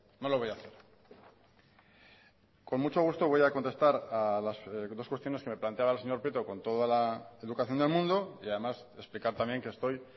no lo voy a hacer con mucho gusto voy a contestar a las dos cuestiones que me planteaba el señor prieto con toda la educación del mundo y además explicar también que estoy